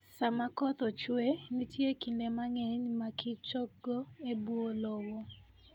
Sama koth ochue, nitie kinde mang'eny ma kichgo e bwo lowo.